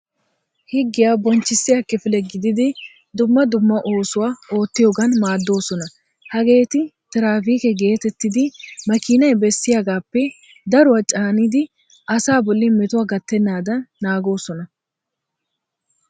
Higgiya bonchchissiya kifile gididi dumma dumma oosuwa oottiyogan maaddoosona. Hageeti tiraafikke geetettiiddi maakinay bessiyagaappe daruwa caanidi asaa bolli metuwwa gattennaadan naagoosona.